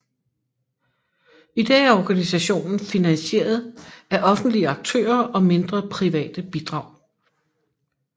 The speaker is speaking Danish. I dag er organisationen finansieret af offentlige aktører og mindre private bidrag